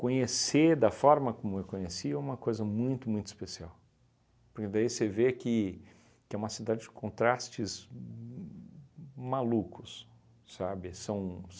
Conhecer da forma como eu conheci é uma coisa muito, muito especial, porque daí você vê que que é uma cidade de contrastes malucos, sabe? São